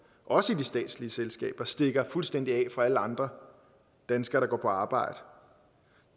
også i statslige selskaber stikker fuldstændig af fra alle andre danskere der går på arbejde